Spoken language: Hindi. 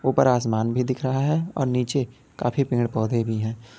उपर आसमान भी दिख रहा है और नीचे काफी पेड़ पौधे भी हैं।